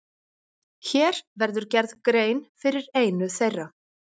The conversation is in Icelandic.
Hér verður gerð grein fyrir einu þeirra.